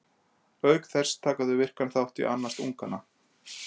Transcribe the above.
Auk þess taka þau virkan þátt í að annast ungana.